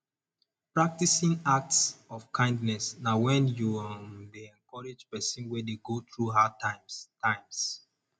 practicing act of kindness na when you um de encourage persin wey de go through hard times times